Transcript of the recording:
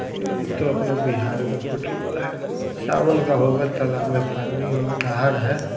इ तो अपना बिहार का फोटो सावन का होगा--- ]